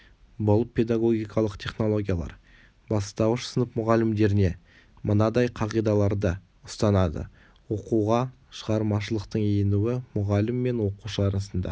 бұл педагогикалық технологиялар бастауыш сынып мұғалімдеріне мынадай қағидаларды ұстанады оқуға шығармашылықтың енуі мұғалім мен оқушы арасында